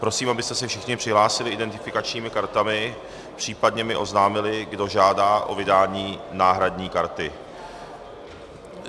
Prosím, abyste se všichni přihlásili identifikačními kartami, případně mi oznámili, kdo žádá o vydání náhradní karty.